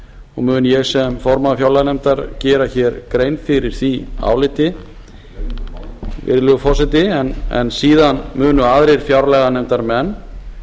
og mun ég sem formaður fjárlaganefndar gera hér grein fyrir því áliti virðulegi forseti en síðan munu aðrir fjárlaganefndarmenn